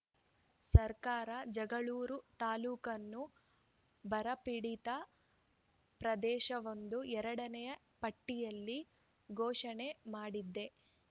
ಸರ್ಕಾರ ಜಗಳೂರು ತಾಲೂಕನ್ನು ಬರಪೀಡಿತ ಪ್ರದೇಶವೆಂದು ಎರಡನೇ ಪಟ್ಟಿಯಲ್ಲಿ ಘೋಷಣೆ ಮಾಡಿದೆ